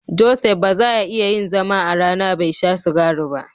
Joseph ba za ya iya yin zama a rana bai sha sigari ba.